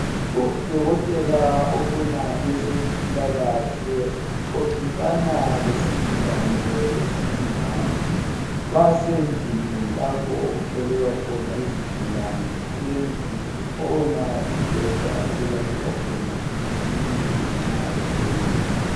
Udokotela obona ngezezimpilakahle uxoxisana lesigulane esingumama Basendlini lapha okuhlolelwa khona izigulane. Kulendlu, kukhona umbheda, okulaliswa khona umuntu nxa ehlolwa.